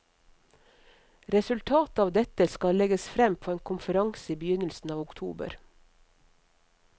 Resultatet av dette skal legges frem på en konferanse i begynnelsen av oktober.